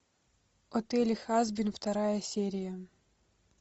отель хазбин вторая серия